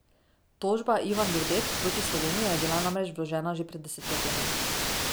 Tožba Ivan Vodeb proti Sloveniji je bila namreč vložena že pred desetletjem.